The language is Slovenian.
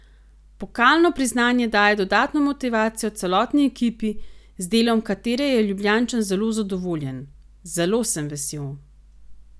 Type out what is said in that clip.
Pokalno priznanje daje dodatno motivacijo celotni ekipi, z delom katere je Ljubljančan zelo zadovoljen: "Zelo sem vesel.